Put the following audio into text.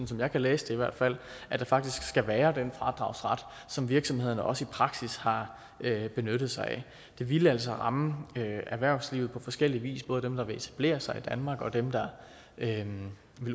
som jeg kan læse det i hvert fald at der faktisk skal være den fradragsret som virksomhederne også i praksis har benyttet sig af det ville altså ramme erhvervslivet på forskellig vis både dem der vil etablere sig i danmark og dem der vil